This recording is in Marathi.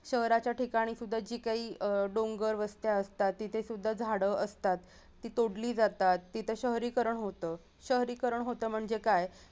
शहराच्या ठिकाणी सुध्दा जी काही अह डोंगर वस्त्या असतात तिथे सुध्दा झाडं असतात ती तोडली जातात तिथे शहरीकरण होत, शहरीकरण होत म्हणजे काय?